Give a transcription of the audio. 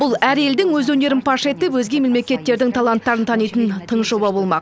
бұл әр елдің өз өнерін паш етіп өзге мемлекеттердің таланттарын танитын тың жоба болмақ